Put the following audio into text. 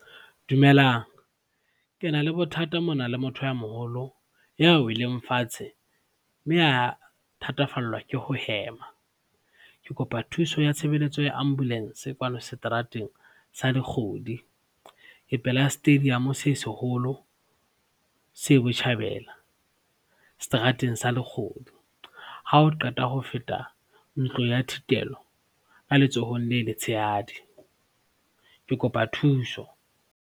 Dumelang, ke na le bothata mona le motho ya moholo ya weleng fatshe mme a thatafallwa ke ho hema. Ke kopa thuso ya tshebelletso ya Ambulance kwano seterateng sa Lekgodi, ke pela stadium se seholo se botjhabela, seterateng sa Lekgodi ha o qeta ho feta ntlo ya thitelo ka letsohong le letshehadi. Ke kopa thuso.